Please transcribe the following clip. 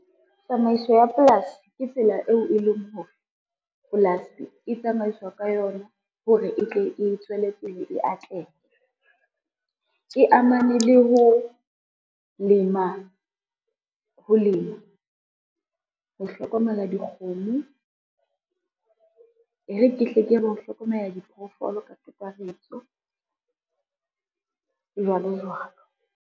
Tsamaiso ya polasi ke tsela eo e leng hore, polasi e tsamaiswa ka yona hore e tle e tswele pele e atleha. E amane le ho lema, ho hlokomela dikgomo, e re hle ke re ho hlokomela diphoofolo ka kakaretso jwalo, jwalo.